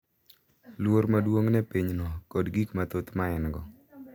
Luor maduong’ ne pinyno kod gik mathoth ma en-go.